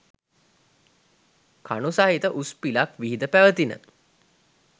කණු සහිත උස් පිලක් විහිද පැවතිණ.